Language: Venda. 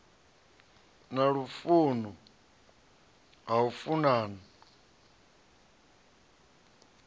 na lufuno ha u funana